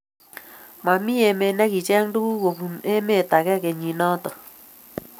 mamii emet ne kicheny tuguk ko bunu emet age kenyit noto